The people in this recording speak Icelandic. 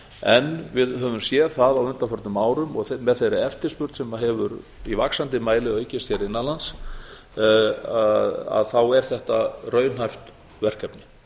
en við höfum séð það á undanförnum árum og með þeirri eftirspurn sem hefur í vaxandi mæli aukist hér innan lands er þetta raunhæft verkefni